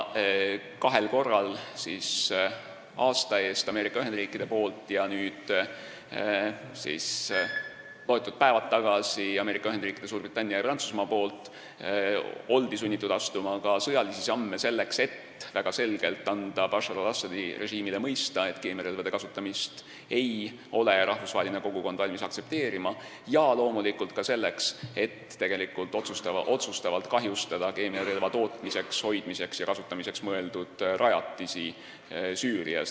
Kahel korral on sunnitud oldud astuma ka sõjalisi samme – aasta eest tegid seda Ameerika Ühendriigid ja nüüd, mõned päevad tagasi Ameerika Ühendriigid, Suurbritannia ja Prantsusmaa – selleks, et anda väga selgelt Bashar al-Assadi režiimile mõista, et rahvusvaheline kogukond ei ole valmis keemiarelvade kasutamist aktsepteerima, ja loomulikult ka selleks, et otsustavalt kahjustada keemiarelva tootmiseks, hoidmiseks ja kasutamiseks mõeldud rajatisi Süürias.